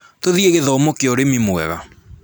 Tũthiĩi gĩthomo kĩa ũrĩmi mwega